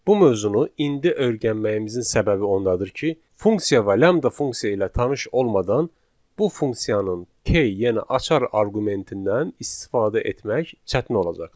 Bu mövzunu indi öyrənməyimizin səbəbi ondadır ki, funksiya və lambda funksiya ilə tanış olmadan bu funksiyanın K yəni açar arqumentindən istifadə etmək çətin olacaqdır.